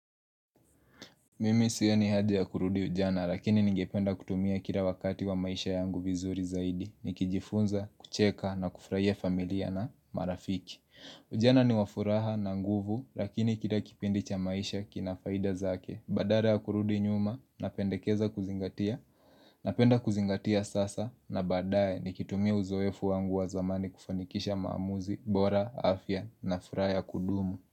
Mimi sioni hajabya kurudi ujana lakini ningependa kutumia kila wakati wa maisha yangu vizuri zaidi Nikijifunza, kucheka na kufurahia familia na marafiki Ujana ni wafuraha na nguvu lakini kila kipindi cha maisha kinafaida zake Badale ya kurudi nyuma, napendekeza kuzingatia, napenda kuzingatia sasa na badae nikitumia uzoefu wangu wa zamani kufanikisha maamuzi, bora, afya na furaha ya kudumu.